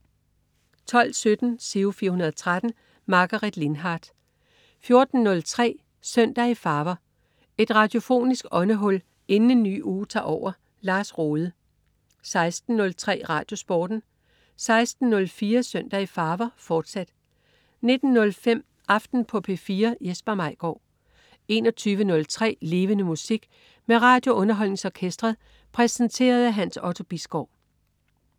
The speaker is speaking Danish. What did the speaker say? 12.17 Giro 413. Margaret Lindhardt 14.03 Søndag i farver. Et radiofonisk åndehul inden en ny uge tager over. Lars Rohde 16.03 RadioSporten 16.04 Søndag i farver, fortsat 19.05 Aften på P4. Jesper Maigaard 21.03 Levende Musik. Med RadioUnderholdningsOrkestret. Præsenteret af Hans Otto Bisgaard